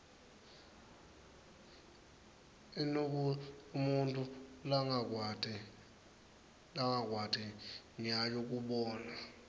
inble umutfu lwkwat nyayo kubona